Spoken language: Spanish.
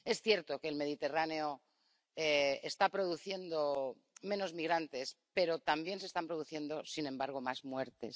Es cierto que el Mediterráneo está produciendo menos migrantes, pero también se están produciendo, sin embargo, más muertes.